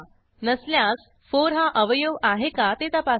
नसल्यास 4 हा अवयव आहे का ते तपासा